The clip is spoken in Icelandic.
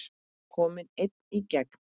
Kominn einn í gegn?